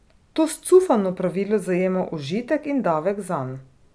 To scufano pravilo zajema užitek in davek zanj.